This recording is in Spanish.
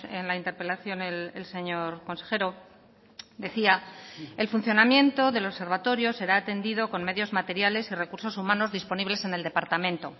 en la interpelación el señor consejero decía el funcionamiento del observatorio será atendido con medios materiales y recursos humanos disponibles en el departamento